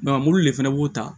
mobili de fɛnɛ b'o ta